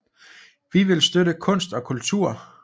Vi vil støtte kunst og kultur